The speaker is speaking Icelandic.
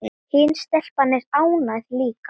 Hin stelpan er ágæt líka